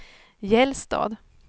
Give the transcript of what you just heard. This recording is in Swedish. Gällstad